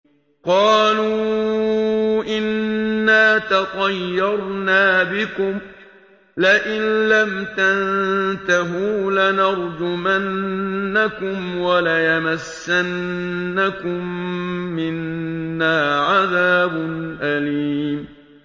قَالُوا إِنَّا تَطَيَّرْنَا بِكُمْ ۖ لَئِن لَّمْ تَنتَهُوا لَنَرْجُمَنَّكُمْ وَلَيَمَسَّنَّكُم مِّنَّا عَذَابٌ أَلِيمٌ